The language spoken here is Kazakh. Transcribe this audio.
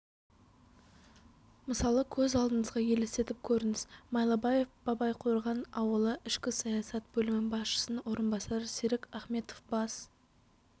мысалы көз алдыңызға елестетіп көріңіз майлыбаев бабайқорған ауылы ішкі саясат бөлімі басшысының орынбасары серік ахметов бас